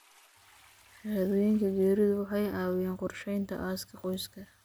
Shahaadooyinka geeridu waxay caawiyaan qorsheynta aaska qoyska.